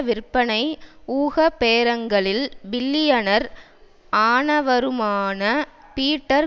விற்பனை ஊக பேரங்களில் பில்லியனர் ஆனவருமான பீட்டர்